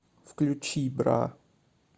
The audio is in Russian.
включи бра